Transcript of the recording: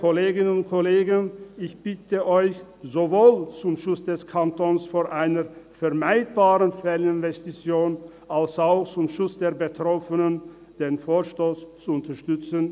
Ich bitte Sie, sowohl zum Schutz des Kantons vor einer vermeidbaren Fehlinvestition als auch zum Schutz der Betroffenen, den Vorstoss zu unterstützen.